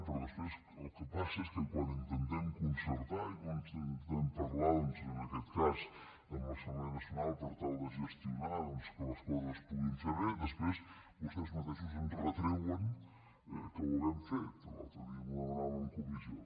però després el que passa és que quan intentem concertar i quan intentem parlar en aquest cas amb l’assemblea nacional per tal de gestionar que les coses es puguin fer bé després vostès mateixos em retreuen que ho hàgim fet l’altre dia m’ho demanava en comissió